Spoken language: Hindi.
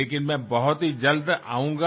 लेकिन मैं बहुत ही जल्द आऊँगा